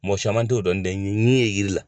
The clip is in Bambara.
Mɔgɔ saman tɛ o dɔn n tɛ yiri la.